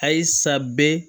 Ayisa bɛ